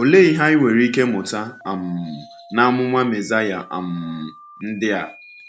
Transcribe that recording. Ọ̀lee ihe anyị nwere ike mụta um n’amụma Mesaya um ndị a?